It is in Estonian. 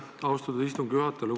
Aitäh, austatud istungi juhataja!